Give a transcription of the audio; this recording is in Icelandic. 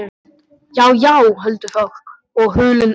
Já, já, huldufólk og hulin öfl.